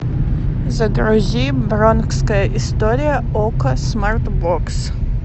загрузи бронкская история окко смарт бокс